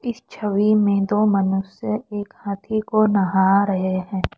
इस छवि में दो मनुष्य एक हाथी को नहां रहे हैं।